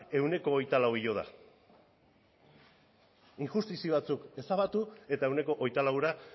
ehuneko hogeita laua igo da injustizia batzuk ezabatu eta ehuneko hogeita laura